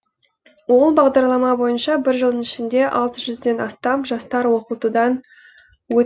ол бағдарлама бойынша бір жылдың ішінде алты жүзден астам жастар оқытудан өт